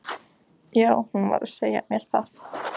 Já, hún var að segja mér það